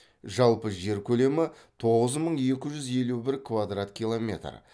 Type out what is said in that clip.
жалпы жер көлемі тоғыз мың екі жүз елу бір квадрат километр